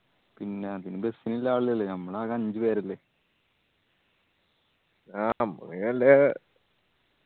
പിന്നാ bus ഇല്ലേ ആളിലല്ല ഞമ്മള് ആക അഞ്ച് പേരല്ലേ ആ സംഭവം വെല്ല